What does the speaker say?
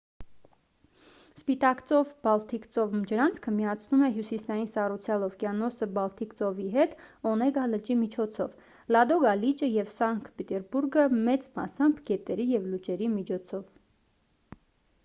սպիտակ ծով-բալթիկ ծով ջրանցքը միացնում է հյուսիսային սառուցյալ օվկիանոսը բալթիկ ծովի հետ օնեգա լճի միջոցով լադոգա լիճը և սանկտ պետերբուրգը մեծ մասամբ գետերի և լճերի միջոցով